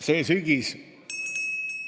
See sügis ...